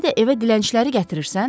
İndi də evə dilənçiləri gətirirsən?